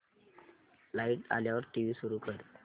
light आल्यावर TV सुरू कर